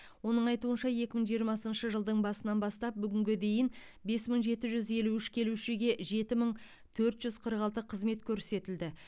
оның айтуынша екі мың жиырмасыншы жылдың басынан бастап бүгінге дейін бес мың жеті жүз елу үш келушіге жеті мың төрт жүз қырық алты қызмет көрсетілді